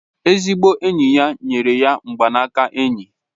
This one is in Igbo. Ezigbo enyi ya nyere ya mgbaaka enyi